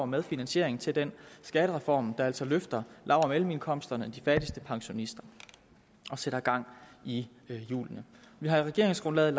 med finansiering til den skattereform der altså løfter lav og mellemindkomstgrupperne og de fattigste pensionister og sætter gang i hjulene vi har i regeringsgrundlaget